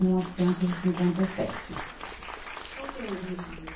Mil novecentos e cinquenta e sete. Qual que é a origem da